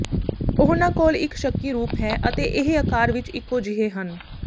ਉਹਨਾਂ ਕੋਲ ਇਕ ਸ਼ੱਕੀ ਰੂਪ ਹੈ ਅਤੇ ਇਹ ਆਕਾਰ ਵਿਚ ਇੱਕੋ ਜਿਹੇ ਹਨ